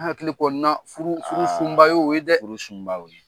An hakili kɔni na furu sunba y'o ye dɛ! Aaa furu sunba y'o ye.